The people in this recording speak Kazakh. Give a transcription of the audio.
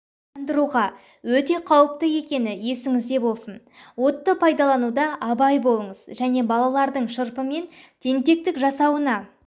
жандыруға өте қауіпті екені есіңізде болсын отты пайдалануда абай болыңыз және балалардың шырпымен тентектік жасауына